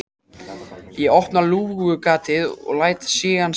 Ég opna lúgugatið og læt stigann síga.